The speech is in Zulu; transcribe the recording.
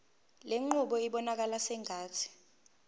lenqubo ibonakala sengathi